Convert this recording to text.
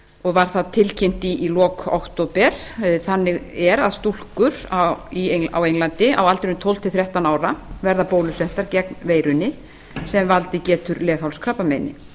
og var það tilkynnt í lok október þannig er að stúlkur á englandi á aldrinum tólf til þrettán ára verða bólusettar gegn veirunni sem valdið getur leghálskrabbameini